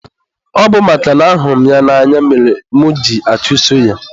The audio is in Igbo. ọ bụ makana ahụrụ m ya n'anya mere mụ ji achuso ya.